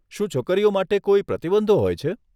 શું છોકરીઓ માટે કોઈ પ્રતિબંધો હોય છે?